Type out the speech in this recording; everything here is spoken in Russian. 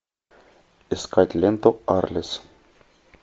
искать ленту арлес